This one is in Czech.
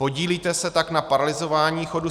Podílíte se tak na paralyzování chodu